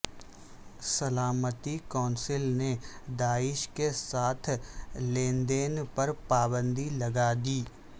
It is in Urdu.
سلامتی کونسل نے داعش کے ساتھ لین دین پر پابندی لگا دی